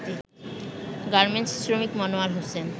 garments শ্রমিক মনোয়ার হোসেন